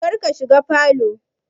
Kar ka shiga falow